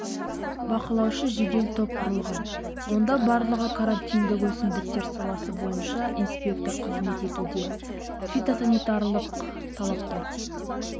бақылаушы жедел топ құрылған онда барлығы карантиндік өсімдіктер саласы бойынша инспектор қызмет етуде фитосанитариялық талаптар